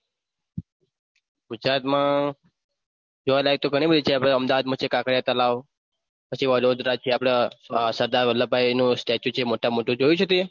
ગુજરાત માં જોવા લાયક તો ગણું બધું છે આપના અમદાવાદ છે કાંકરીયા તલાવ પછી વડોદરા છે આપડ સરદાર વલ્લભભાઈ નું statue છે મોટામ મોટુ જોયું છે તિએ